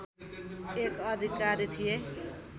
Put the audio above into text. एक अधिकारी थिए